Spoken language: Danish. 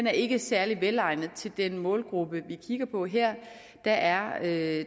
er ikke særlig velegnet til den målgruppe vi kigger på her der er